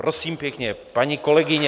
Prosím pěkně, paní kolegyně...